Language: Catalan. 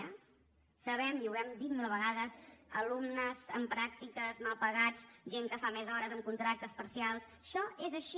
ho sabem i ho hem dit mil vegades alumnes en pràctiques mal pagats gent que fa més hores amb contractes parcials això és així